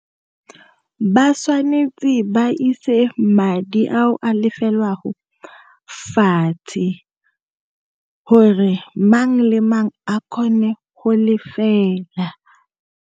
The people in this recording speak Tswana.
Ba tswanetse ba ise madi ao a lefelwago fatshe, gore mang le mang a kgone go lefela.